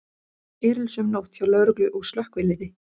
Erilsöm nótt hjá lögreglu og slökkviliði